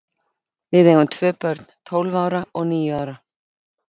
Við eigum tvö börn, tólf ára og níu ára.